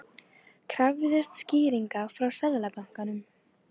Krafðist skýringa frá Seðlabankanum